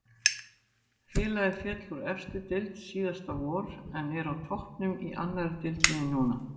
Félagið féll úr efstu deild síðasta vor en er á toppnum í annari deildinni núna.